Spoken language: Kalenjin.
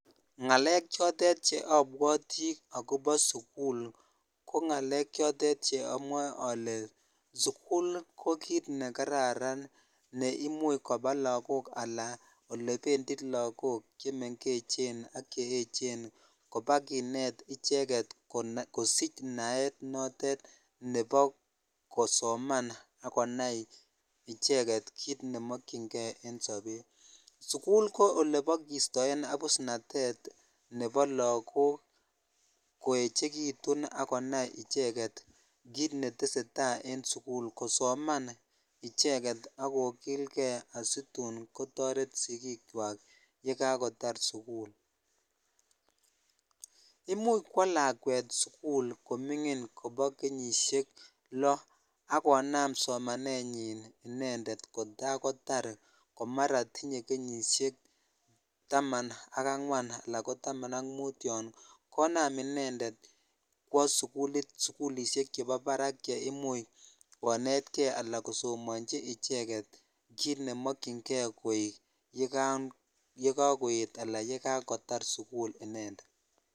Ngalek chotet chheabwoti akobo sukul ko ngalek vhotet cheamwoe oke sukul ko kit bekaraan ne imuch koba lakok sla olependi lakok chemengechen ak cheecen kobakibet icheket kosich naet notet nebo kosoman ak konai icheket kit nemokyin kei en sobet sukul ko oebokistoen abusnatet nebo lakok koechekitun ak konai icheket kit netesetai en sukul kosoman ak kokilkei icheget asitun kotoret sikichwak ye kakotar sukul imuch kwoo lakwet sukul komingin kobo kenyisek loo ak konam somanenyin inended kotakotar komara tinye inended kenyishek taman ak angwan ala ko taman ak mutton konam inendet kwoo sukulit ab barark che imuch konetkei ala kosomochi icheket kit nemokyin kei koyai yekakoyet ala yekakotar sukul inended.